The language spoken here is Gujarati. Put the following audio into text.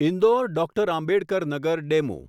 Indore doctor Ambedkar Nagar DEMU